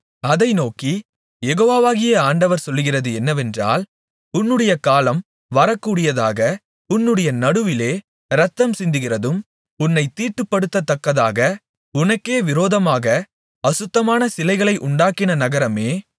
அதை நோக்கி யெகோவாகிய ஆண்டவர் சொல்லுகிறது என்னவென்றால் உன்னுடைய காலம் வரக்கூடியதாக உன்னுடைய நடுவிலே இரத்தம்சிந்துகிறதும் உன்னைத் தீட்டுப்படுத்தத்தக்கதாக உனக்கே விரோதமாக அசுத்தமான சிலைகளை உண்டாக்கின நகரமே